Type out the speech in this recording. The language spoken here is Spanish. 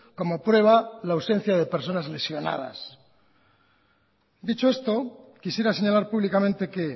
como prueba la ausencia de personas lesionadas dicho esto quisiera señalar públicamente que